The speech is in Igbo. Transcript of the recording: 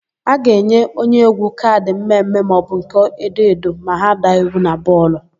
A ga-enye onyeégwú kaadị mmemme maọbụ nke edoedo ma ha daa iwu na bọọlụ.